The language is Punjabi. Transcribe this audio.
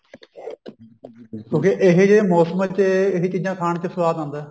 ਕਿਉਂਕਿ ਇਹੋ ਜਿਹੇ ਮੋਸਮ ਚ ਇਹੀ ਚੀਜਾਂ ਖਾਨ ਚ ਸਵਾਦ ਆਉਂਦਾ